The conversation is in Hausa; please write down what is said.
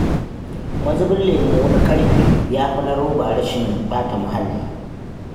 Mazubin lemo na ƙarfe ya fi na roba rashin ɓata muhalli